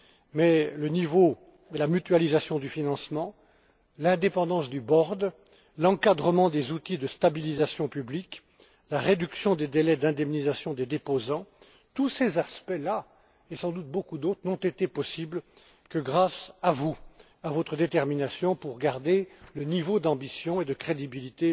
Mais le niveau et la mutualisation du financement, l'indépendance du board l'encadrement des outils de stabilisation publique, la réduction des délais d'indemnisation des déposants, tous ces aspects et sans doute bien d'autres n'ont été possibles que grâce à vous et à votre détermination pour garder le niveau d'ambition et de crédibilité